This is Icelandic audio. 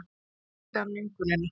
Auðvitað skildi hann löngunina.